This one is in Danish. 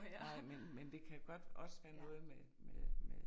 Nej men men det kan godt også være noget med med med